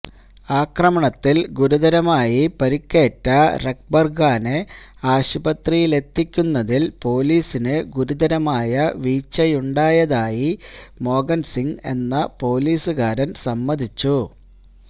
ആക്രമണത്തില് ഗുരുതരമായി പരിക്കേറ്റ രക്ബര് ഖാനെ ആശുപത്രിയിലെത്തിക്കുന്നതില് പൊലീസിന് ഗുരുതരമായ വീഴ്ചയുണ്ടായതായി മോഹന് സിങ് എന്ന പൊലീസുകാരന് സമ്മതിച്ചു